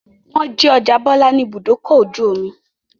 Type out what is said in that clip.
Wọ́n jí ọjà Bọ́lá ní Ibùdó-ọkọ̀ ojú-omi.